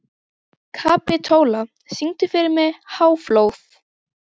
Kapitola, syngdu fyrir mig „Háflóð“.